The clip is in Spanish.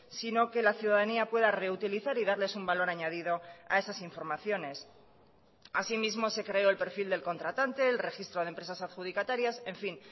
sino que la ciudadanía pueda reutilizar y darles un valor añadido a esas informaciones asimismo se creó el perfil del contratante el registro de empresas adjudicatarias enfin